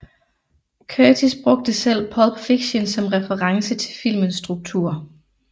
Curtis brugte selv Pulp Fiction som reference til filmens struktur